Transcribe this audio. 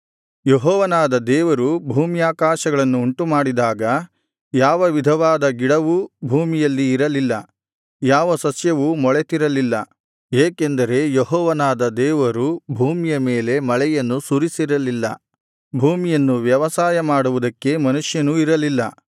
ಯೆಹೋವನಾದ ದೇವರು ಭೂಮ್ಯಾಕಾಶಗಳನ್ನು ಉಂಟುಮಾಡಿದಾಗ ಯಾವ ವಿಧವಾದ ಗಿಡವೂ ಭೂಮಿಯಲ್ಲಿ ಇರಲಿಲ್ಲ ಯಾವ ಸಸ್ಯವೂ ಮೊಳೆತಿರಲಿಲ್ಲ ಏಕೆಂದರೆ ಯೆಹೋವನಾದ ದೇವರು ಭೂಮಿಯ ಮೇಲೆ ಮಳೆಯನ್ನು ಸುರಿಸಿರಲಿಲ್ಲ ಭೂಮಿಯನ್ನು ವ್ಯವಸಾಯ ಮಾಡುವುದಕ್ಕೆ ಮನುಷ್ಯನೂ ಇರಲಿಲ್ಲ